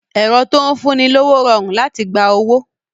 Ẹ̀rọ tó ń fún ni lówó rọrùn láti gba owó